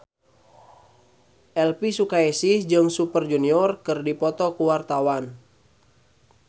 Elvi Sukaesih jeung Super Junior keur dipoto ku wartawan